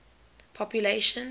population